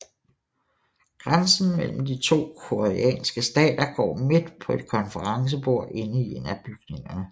Grænsen mellem de to koreanske stater går midt på et konferencebord inde i en af bygningerne